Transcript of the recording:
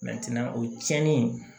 o tiɲɛni